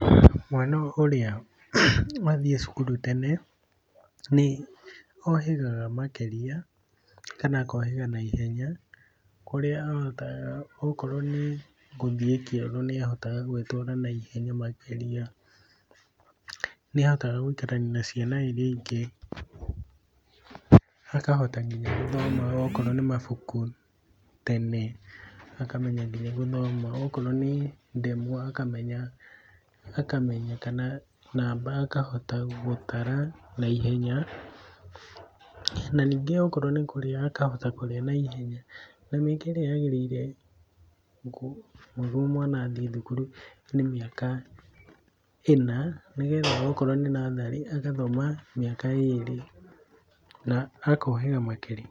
Mwana ũrĩa wathiĩ cukuru tene nĩohĩgaga makĩria kana akohĩga naihenya, kũrĩa ahotaga okorwo nĩ gũthiĩ kĩoro nĩahotaga gwĩtwara naihenya makĩria. Nĩahotaga gũikarania na ciana iria ingĩ, akahota nginya gũthoma okorwo nĩ mabuku tene, akamenya kinya gũthoma akorwo nĩ ndemwa akamenya, akamenya kana namba akahota gũtara naihenya. Ningĩ, akorwo nĩ kũrĩa akahota kũrĩa naiheya, na mĩaka ĩrĩa yagĩrĩire nĩguo mwana athiĩ thukuru nĩ mĩaka ĩna, nĩgetha okorwo nĩ natharĩ, agathoma mĩaka ĩrĩ na akohĩga makĩria.